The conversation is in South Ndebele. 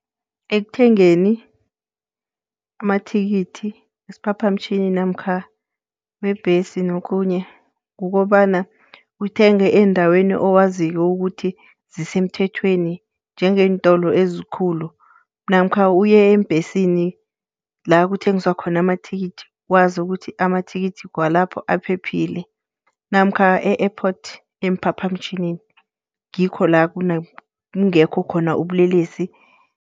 Ekuthengeni amathikithi wesiphaphamtjhini namkha webhesi nokhunye, kukobana uthenge endaweni owaziko ukuthi zisemthethweni njengeentolo ezikhulu, namkha uye eembhesini la kuthengiswa khona amathikithi. Wazi ukuthi amathikithi walapho aphephile. Namkha e-Airport emphaphamtjhinini ngikho la kungekho khona ubulelesi.